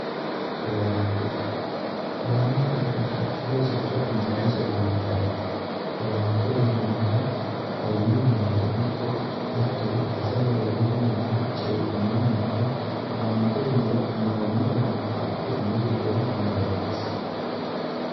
owaante babbaxinno rosicho giddose amaddanno owaante uyinannihu hawino mannira ikko hattono afay heerenninninni cee'mno mannira owaante uyiniro uyinoonni owaante adhe umosi lowontanni woyyeessanno